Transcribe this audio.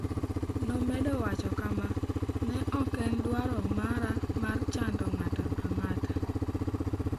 Nomedo wacho kama: "Ne ok en dwaro mara chando ng'ato ang'ata.